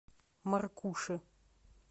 маркуши